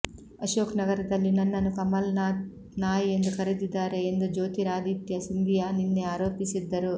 ಅಶೋಕ್ ನಗರದಲ್ಲಿ ನನ್ನನ್ನು ಕಮಲ್ ನಾಥ್ ನಾಯಿ ಎಂದು ಕರೆದಿದ್ದಾರೆ ಎಂದು ಜ್ಯೋತಿರಾಧಿತ್ಯ ಸಿಂಧಿಯಾ ನಿನ್ನೆ ಆರೋಪಿಸಿದ್ದರು